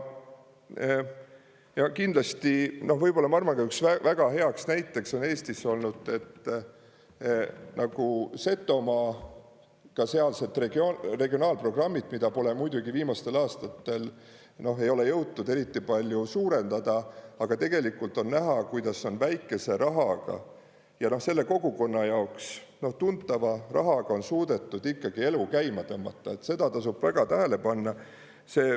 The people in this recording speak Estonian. Ja kindlasti, ma arvan, üheks väga heaks näiteks on Eestis olnud nagu Setomaa, ka sealsed regionaalprogrammid, mida pole muidugi viimastel aastatel jõutud eriti palju suurendada, aga tegelikult on näha, kuidas on väikese rahaga ja selle kogukonna jaoks tuntava rahaga on suudetud ikkagi elu käima tõmmata, seda tasub väga tähele panna.